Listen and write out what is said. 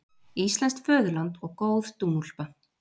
Íslenskt föðurland og góð dúnúlpa